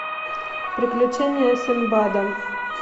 приключения синдбада